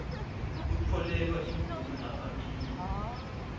kutfolelwa imvume yaphambilini